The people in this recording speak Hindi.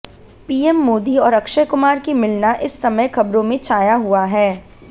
पीएम मोदी और अक्षय कुमार की मिलना इस समय खबरों में छाया हुआ है